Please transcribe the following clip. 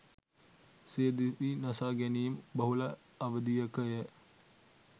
සිය දිවි නසා ගැනීම් බහුල අවධියක ය.